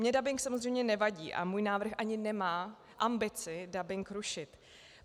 Mně dabing samozřejmě nevadí a můj návrh ani nemá ambici dabing rušit.